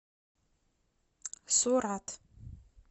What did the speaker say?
сурат